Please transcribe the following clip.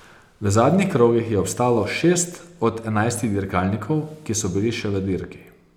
V zadnjih krogih je obstalo šest od enajstih dirkalnikov, ki so bili še v dirki.